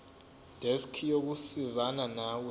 desk yokusizana nawe